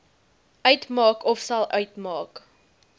uitmaak ofsal uitmaak